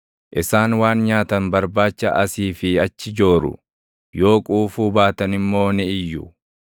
Isaan waan nyaatan barbaacha asii fi achi jooru; yoo quufuu baatan immoo ni iyyu.